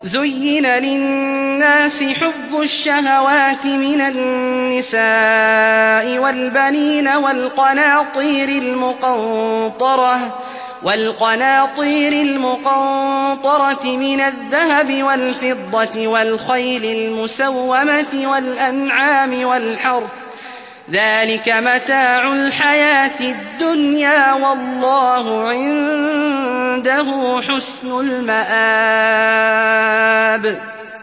زُيِّنَ لِلنَّاسِ حُبُّ الشَّهَوَاتِ مِنَ النِّسَاءِ وَالْبَنِينَ وَالْقَنَاطِيرِ الْمُقَنطَرَةِ مِنَ الذَّهَبِ وَالْفِضَّةِ وَالْخَيْلِ الْمُسَوَّمَةِ وَالْأَنْعَامِ وَالْحَرْثِ ۗ ذَٰلِكَ مَتَاعُ الْحَيَاةِ الدُّنْيَا ۖ وَاللَّهُ عِندَهُ حُسْنُ الْمَآبِ